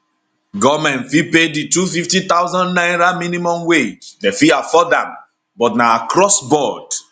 goment fit pay di 250000 naira minimum wage dem fit afford am but na across board